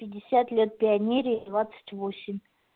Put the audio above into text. пятьдесят лет пионерии двадцать восемь